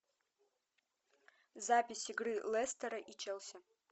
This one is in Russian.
запись игры лестера и челси